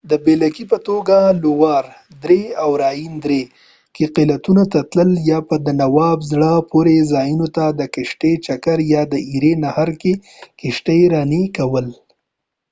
د بېلګې په توګه لووار درې او راین درې کې قلعو ته تلل یا په دانوب زړه پورې ځایونو ته د کشتۍ چکر یا د ایري نهر کې کشتي راني کول